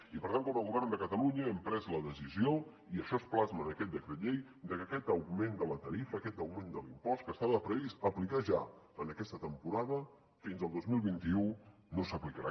i per tant com a govern de catalunya hem pres la decisió i això es plasma en aquest decret llei de que aquest augment de la tarifa aquest augment de l’impost que estava previst aplicar ja en aquesta temporada fins al dos mil vint u no s’aplicarà